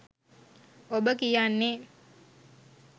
ඔබ කියන්නේ